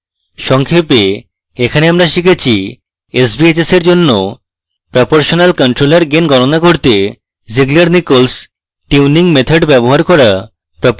সংক্ষেপে এখানে আমরা শিখেছিsbhs in জন্য proportional controller gain গনণা করতে zieglernichols tuning method ব্যবহার করা